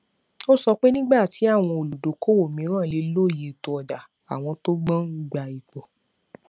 ó sọ pé nígbà tí àwọn olùdókòówò mìíràn lè lóye ètò ọjà àwọn tó gbọn gba ipò